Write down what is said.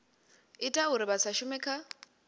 ita uri vha shume kha